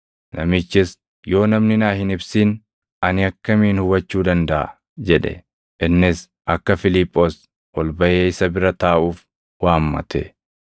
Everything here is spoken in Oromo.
Namichis, “Yoo namni naa hin ibsin ani akkamiin hubachuu dandaʼa?” jedhe. Innis akka Fiiliphoos ol baʼee isa bira taaʼuuf waammate.